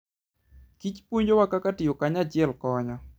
kich puonjowa kaka tiyo kanyachiel konyo.